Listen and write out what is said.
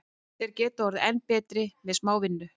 Þeir geta orðið enn betri með smá vinnu.